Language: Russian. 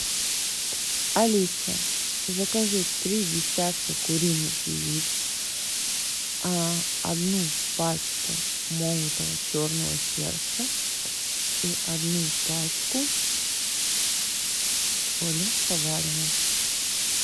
алиса закажи три десятка куриных яиц одну пачку молотого черного перца и одну пачку соли поваренной